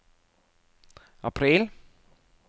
april